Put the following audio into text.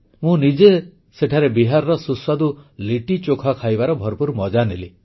ମୁଁ ନିଜେ ସେଠାରେ ବିହାରର ସୁସ୍ୱାଦୁ ଲିଟିଚୋଖା ଖାଇବାର ଭରପୂର ମଜା ନେଲି